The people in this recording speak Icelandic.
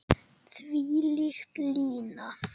Þvílík lína.